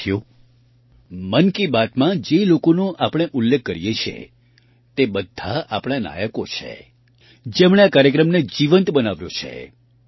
સાથીઓ મન કી બાતમાં જે લોકોનો આપણે ઉલ્લેખ કરીએ છીએ તે બધા આપણા નાયકો છે જેમણે આ કાર્યક્રમને જીવંત બનાવ્યો છે